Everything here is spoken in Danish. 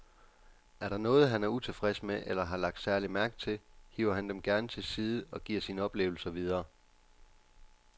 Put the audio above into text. Er der noget, han er utilfreds med eller har lagt særlig mærke til, hiver han dem gerne til side og giver sine oplevelser videre.